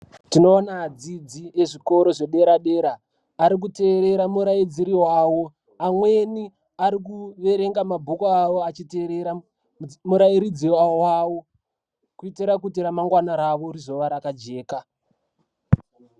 Tinona adzidzi ezvikora zvedera-dera arikuterera muraidziri vavo. Amweni arikuverenga mabhuku avo achiterera murairidzi vavo. Kuitira kuti ramangwana ravo rizova rakajeka.